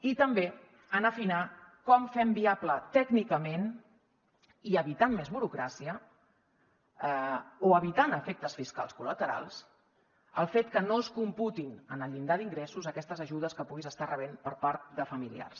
i també en afinar com fem viable tècnicament i evitant més burocràcia o evitant efectes fiscals col·laterals el fet que no es computin en el llindar d’ingressos aquestes ajudes que puguis estar rebent per part de familiars